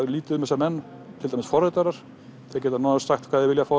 lítið um þessa menn til dæmis forritara þeir geta nánast sagt hvað þeir vilja